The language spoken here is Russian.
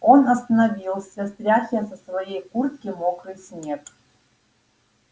он остановился стряхивая со своей куртки мокрый снег